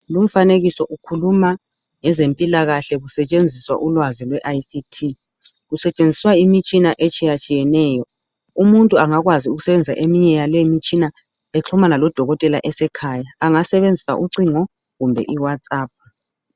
Lomfanekiso ukhuluma ngezempilakahle kusetshenziswa ngolwazi lweICT. Kusetshenziswa imitshina etshiyatshiyeneyo. Umuntu ngakwazi ukusebenzisa eminye yaleyi imitshina eqhumana lodokotela esekhaya angasebenzisa ucingo kumbe iwhatsaphu.